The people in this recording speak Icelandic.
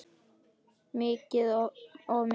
Of mikið stress?